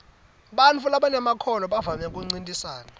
bantfu labanemakhono bavamise kuncintisana